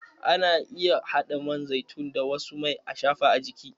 Ana iya haɗa man zaitun da wasu mai ashafa a jiki.